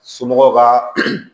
Somɔgɔw ka